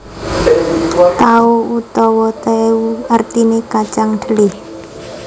Tao utawa teu artiné kacang dhelé